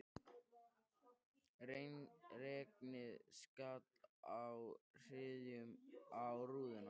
Regnið skall í hryðjum á rúðuna.